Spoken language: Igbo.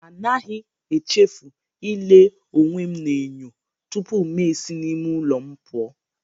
Anaghị echefu ile onwe m n'enyo tupu ma esi n'ime ụlọ m pụọ.